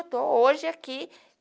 Eu estou hoje aqui.